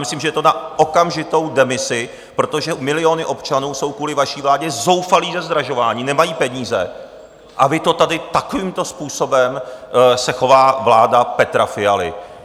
Myslím, že je to na okamžitou demisi, protože miliony občanů jsou kvůli vaší vládě zoufalí ze zdražování, nemají peníze, a vy to tady - takovýmto způsobem se chová vláda Petra Fialy.